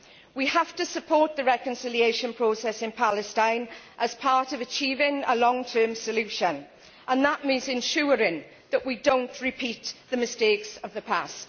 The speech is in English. We have to support the reconciliation process in Palestine as part of achieving a long term solution, and that means ensuring that we do not repeat the mistakes of the past.